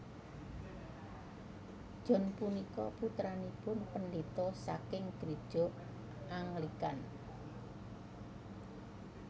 John punika putranipun pendeta saking gereja Anglikan